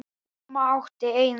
Amma átti eina.